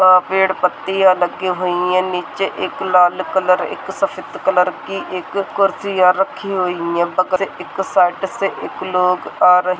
पेड़ पत्तियाँ लागी हुई है। नीचे एक लाल कलर की एक सफेद कलर की एक कुर्सियां राखी हुई है। बछे एक साइड से एक लोग आ रहे है।